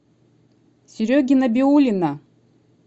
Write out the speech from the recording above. сереги набиуллина